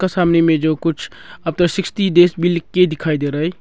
और सामने में जो कुछ आफ्टर सिक्सटी डेज भी लिख के दिखाई रहा है।